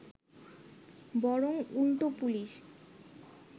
বরং উল্টো পুলিশ